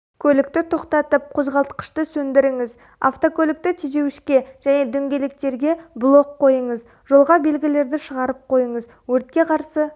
көлікті тоқтатып қозғалтқышты сөндіріңіз автокөлікті тежеуішке және дөңгелектерге блок қойыңыз жолға белгілерді шығарып қойыңыз өртке қарсы